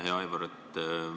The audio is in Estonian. Hea Aivar!